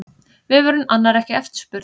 Vefurinn annar ekki eftirspurn